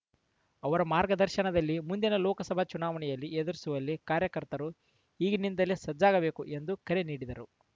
ಅವರ ಮಾರ್ಗದರ್ಶನದಲ್ಲಿ ಮುಂದಿನ ಲೋಕಸಭೆ ಚುನಾವಣೆಯನ್ನು ಎದುರಿಸುವಲ್ಲಿ ಕಾರ್ಯಕರ್ತರು ಈಗಿನಿಂದಲೇ ಸಜ್ಜಾಗಬೇಕು ಎಂದು ಕರೆ ನೀಡಿದರು